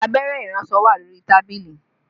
Abẹ́rẹ́ iransọ wà lórí tábìlì